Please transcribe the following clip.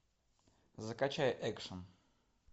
закачай экшн